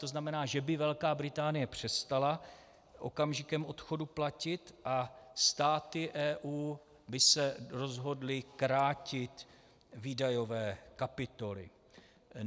To znamená, že by Velká Británie přestala okamžikem odchodu platit a státy EU by se rozhodly krátit výdajové kapitoly.